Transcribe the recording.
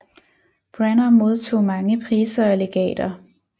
Branner modtog mange priser og legater